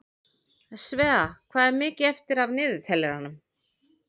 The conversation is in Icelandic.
Svea, hvað er mikið eftir af niðurteljaranum?